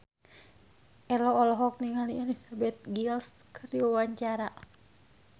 Ello olohok ningali Elizabeth Gillies keur diwawancara